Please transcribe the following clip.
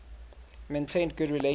maintained good relations